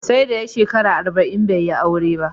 Sai da ya shekara arba'in bai yi aure ba